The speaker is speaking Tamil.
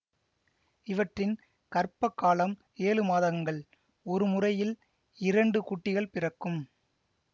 இவற்றின் கர்ப்ப காலம் ஏழு மாதங்கள் ஒரு முறையில் இரண்டு குட்டிகள் பிறக்கும்